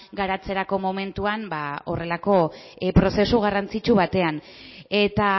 garatzerako momentuan horrelako prozesu garrantzitsu batean eta